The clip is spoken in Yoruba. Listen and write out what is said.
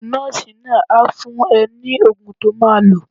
Nọ́ọ̀sì náà á fún ẹ ní oògùn to máa lò.